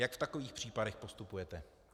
Jak v takových případech postupujete?